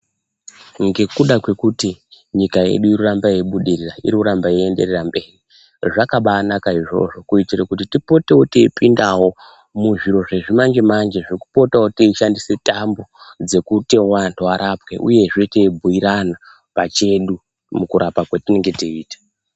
Ngekuda kwekuti nyika yedu iri kuramba yeibudirira iri kuramba yeienda mberi zvakabanaka izvozvo kuitira kuti tipotewo teipinda muzvitoro zvezvimanje manje zvekupotawo teishandisa tambo dzekuti vantu varapwe uyezve teibguirana pachedubmukuraowa patinenge teitwa.